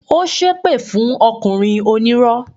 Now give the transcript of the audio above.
Ó ṣépè fún ọkùnrin onírọ́